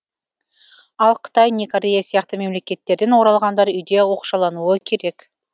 ал қытай не корея сияқты мемлекеттерден оралғандар үйде оқшаулануы керек